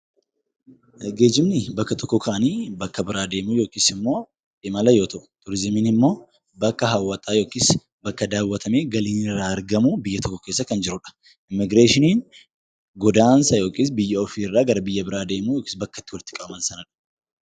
Geejjibnii bakka tokkoo ka'anii bakka biraa deemuu yookiis immoo imala yoo ta'u; Turiizimiin immoo bakka hawwataa yookiis bakka daawwaramee galiin irraa argamu, biyya tokko keessa kan jiru dha. Immigireeshiniin godaansa yookiis biyya ofii irraa gara biyya biraa deemuu yookiis bakka itti walitti qabaman sana dha.